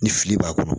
Ni fili b'a kɔrɔ